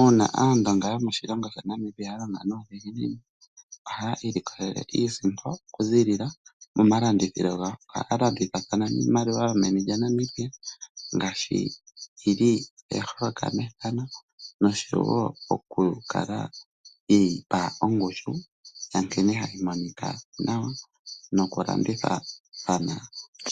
Uuna Aandonga yomoshilongo sha Namibia ya longa nuudhiginini, ohaya ilikolele iisimpo okuziilila momalanditho gawo. Ohaya landithathana niimaliwa yomeni lyaNamibia nosho wo okukala ye yi pa ongushu ya nkene hayi monika nawa nokulandithathana